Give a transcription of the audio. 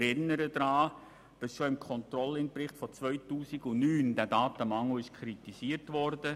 Ich erinnere daran, dass der Datenmangel auch im Controlling-Bericht von 2009 kritisiert wurde.